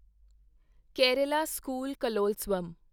Kerala school Kalolsavam